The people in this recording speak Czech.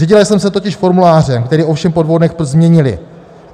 Řídila jsem se totiž formulářem, který ovšem po dvou dnech změnili.